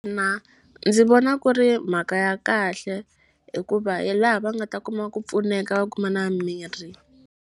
ndzi vona ku ri mhaka ya kahle hikuva hi laha va nga ta kuma ku pfuneka va kuma na mirhi.